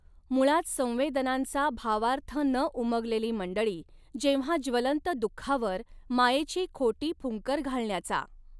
मुळात संवेदनांचा भावार्थ न उमगलेली मंडळी जेव्हा ज्वलंत दुखावर मायेची खोटी फुंकर घालण्याचा